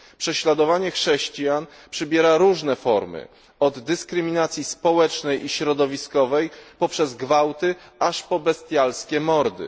Prześladowanie chrześcijan przybiera różne formy od dyskryminacji społecznej i środowiskowej, poprzez gwałty, aż po bestialskie mordy.